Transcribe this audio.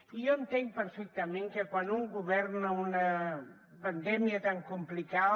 i jo entenc perfectament que quan un govern o una pandèmia tan complicada